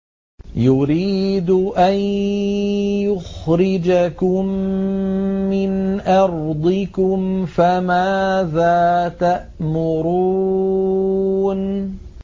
يُرِيدُ أَن يُخْرِجَكُم مِّنْ أَرْضِكُمْ ۖ فَمَاذَا تَأْمُرُونَ